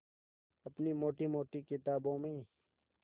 अपनी मोटी मोटी किताबों में